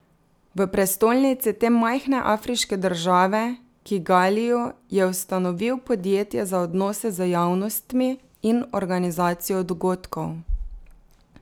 V prestolnici te majhne afriške države, Kigaliju, je ustanovil podjetje za odnose z javnostmi in organizacijo dogodkov.